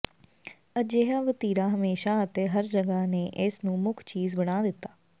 ਅਜਿਹਾ ਵਤੀਰਾ ਹਮੇਸ਼ਾਂ ਅਤੇ ਹਰ ਜਗ੍ਹਾ ਨੇ ਇਸ ਨੂੰ ਮੁੱਖ ਚੀਜ਼ ਬਣਾ ਦਿੱਤਾ